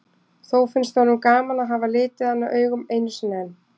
Þó finnst honum gaman að hafa litið hana augum einu sinni enn.